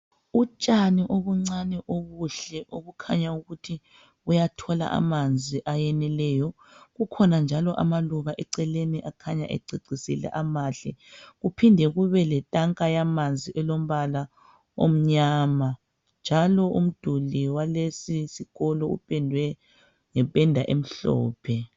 Utshani okuncane obuhle obukhanya ukuthi buyathola amanzi ayeneleyo kukhona njalo amaluba eceleni akhanya ececisile amahle kumphinde njalo kube letank yamanzi elombala emnyama njalo umduli walesisikolo umpendwe ngempenda emhlophe.